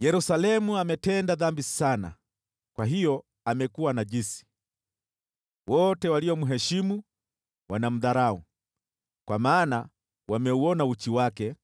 Yerusalemu ametenda dhambi sana kwa hiyo amekuwa najisi. Wote waliomheshimu wanamdharau, kwa maana wameuona uchi wake.